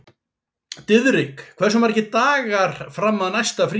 Diðrik, hversu margir dagar fram að næsta fríi?